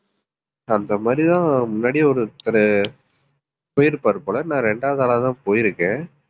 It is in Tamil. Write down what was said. அந்த மாதிரிதான் முன்னாடியே ஒருத்தரு போயிருப்பாரு போல. நான் ரெண்டாவது ஆளாதான் போயிருக்கேன்.